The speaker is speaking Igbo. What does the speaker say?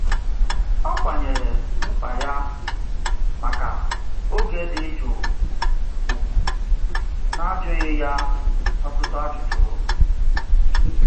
Ọ kwanyeere mkpa ya maka oge dị jụụ ugwu n'ajụghị ya ọtụtụ ajụjụ.